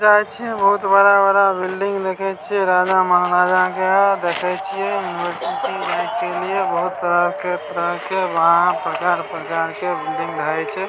जाय छीयेबहुत बड़ा-बड़ा बिल्डिंग देखे छीये राजा महाराजा के देखे छीये यूनिवर्सिटी बहुत तरह-तरह के प्रकार-प्रकार के बिल्डिंग हेय छै।